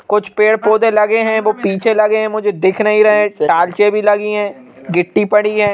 कुछ पेड़ पौधे लगे हैं वह पीछे लगे हैं मुझे दिख नहीं रहे हैं टालचे भी लगी हैं गिट्टी पड़ी है।